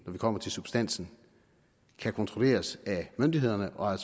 vi kommer til substansen kan kontrolleres af myndighederne og